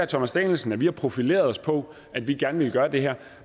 thomas danielsen at vi har profileret os på at vi gerne ville gøre det her